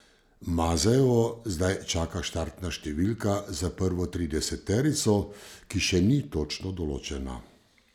Mazejevo zdaj čaka štartna številka za prvo trideseterico, ki še ni točno določena.